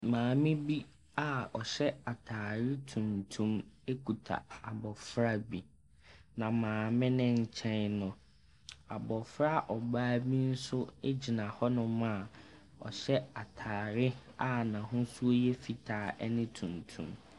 Maame bi a ɔhyɛ atade tuntum kuta abɔfra bi. Na maame no nkyɛn no, abɔfra ɔbaa bi nso gyina hɔnom a wahyɛ atadeɛ a n'ahosuoyɛ fitaa ne tuntum.